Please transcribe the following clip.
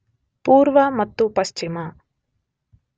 ಪೂರ್ವ ಮತ್ತು ಪಶ್ಚಿಮ